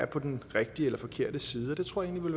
på den rigtige eller den forkerte side jeg tror egentlig